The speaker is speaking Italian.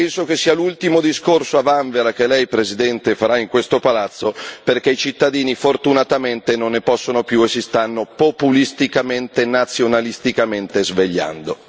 Penso che sia l'ultimo discorso a vanvera che lei, Presidente, farà in questo palazzo, perché i cittadini fortunatamente non ne possono più e si stanno populisticamente e nazionalisticamentre svegliando.